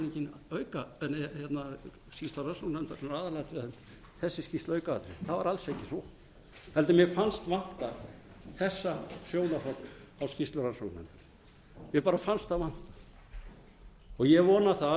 en skýrsla rannsóknarnefnd aðalatriði heldur þessi skýrsla aukaatriði það er alls ekki svo mér fannst vanta þetta sjónarhorn á skýrslu rannsóknarnefndar mér fannst það vanta og ég vona að